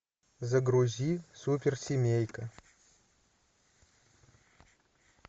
загрузи суперсемейка